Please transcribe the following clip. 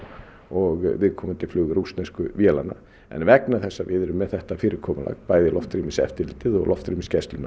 og viðkomandi flug rússnesku vélanna en vegna þess að við erum með þetta fyrirkomulag bæði loftrýmiseftirlitið og loftrýmisgæsluna